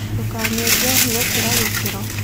Ndũkanyũe njohĩ gũkĩra gĩkĩro